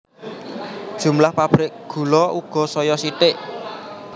Jumlah pabrik gula uga saya sithik